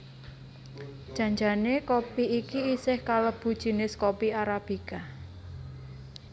Jan jane kopi iki isih kalebu jinis kopi arabika